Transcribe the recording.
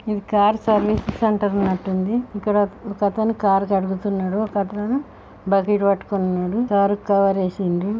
ఇది car service centre ఉన్నట్టుంది. ఇక్కడ ఒకతను కార్ కడుగుతున్నాడు ఒకతను బకెట్ పట్టుకుని ఉన్నాడు కారు కు కవర్ వేసుండు.